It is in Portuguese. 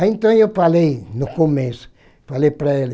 Aí então eu falei no começo, falei para ele,